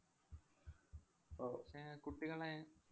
ഓ ഏർ കുട്ടികളെ